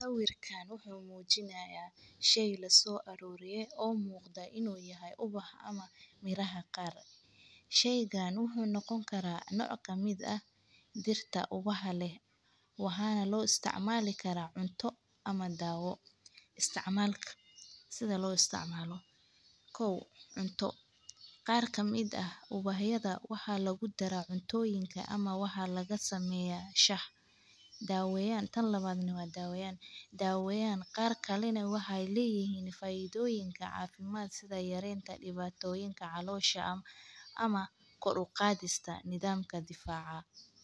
Sawirkaan wuxuu muujinayaa sheey la soo aruurya oo muuqda inuu yahay ubax ama miraha qaar. Sheygaan wuxuu noqon karaa nooca mid ah dirinta ubahada, wuxuuna loo isticmaali karaa cunto ama daawo. Isticmaalka sida loo isticmalo. Kow cunto qaarka mid ah ubahada waxaa lagu darayo cuntooyinka ama waxaa laga sameeyaa shah daawo yaan. Tan labaadnima daawo yaan. Daawo yaan qaarka lenay waxay leeyihiin faaiidooyinka caafimaad sida yareenta dhibaatoyinka caloosha ama, ama koor u qaadista nidaamka difaaca.